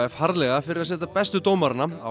harðlega fyrir að setja bestu dómarana á